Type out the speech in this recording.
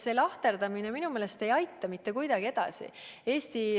See lahterdamine minu meelest ei aita eesti rahvast mitte kuidagi edasi.